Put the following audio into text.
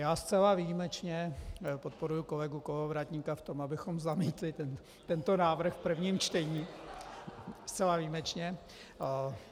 Já zcela výjimečně podporuji kolegu Kolovratníka v tom, abychom zamítli tento návrh v prvním čtení, zcela výjimečně.